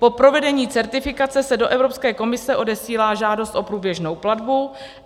Po provedení certifikace se do Evropské komise odesílá žádost o průběžnou platbu.